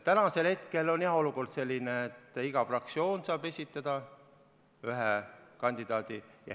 Täna on jah olukord selline, et iga fraktsioon saab esitada ühe kandidaadi.